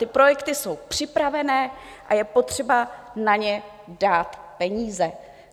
Ty projekty jsou připravené a je potřeba na ně dát peníze.